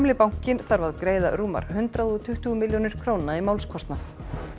bankinn þarf að greiða rúmar hundrað og tuttugu milljónir króna í málskostnað